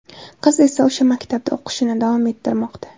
Qiz esa o‘sha maktabda o‘qishini davom ettirmoqda.